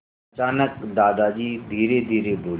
अचानक दादाजी धीरेधीरे बोले